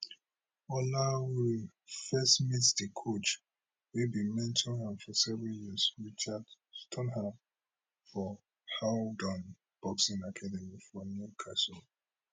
olaore first meet di coach wey bin mentor am for seven years richard stoneham for howdon boxing academy for newcastle